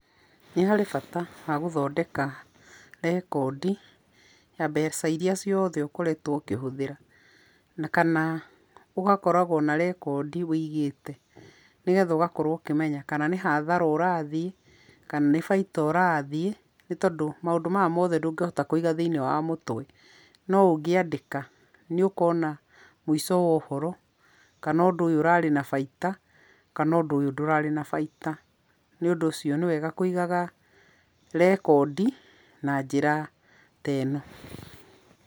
Nĩ harĩ bata wa gũthondeka rekondi, ya mbeca iria ciothe ũkoretwo ũkĩhũthĩra. Na kana ũgakoragũo na rekondi ũigĩte nĩ getha ũgakorũo ũkĩmenya kana nĩ hathara ũrathiĩ, kana nĩ baita ũrathiĩ, nĩ tondũ maũndũ maya mothe ndũngĩhota kũiga thĩinĩ wa mũtwe, no ũngĩandĩka nĩ ũkona mũico wa ũhoro, kana ũndũ ũyũ ũrarĩ na baita, kana ũndũ ũyũ ndũrarĩ na baita. Nĩ ũndũ ũcio nĩ wega kũigaga rekondi na njĩra ta ĩno.